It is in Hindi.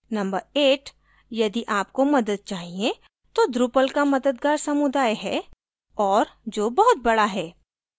number 8: यदि आपको मदद चाहिए तो drupal का मददगार समुदाय है और जो बहुत बड़ा है